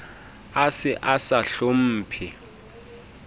a se a sa hlomphe